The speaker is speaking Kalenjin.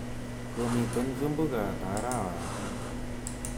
Komiten vimbunga ata arawani?